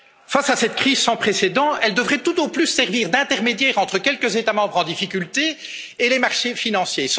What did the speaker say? Face à cette crise sans précédent, elle devrait tout au plus servir d'intermédiaire entre quelques États membres en difficulté et les marchés financiers.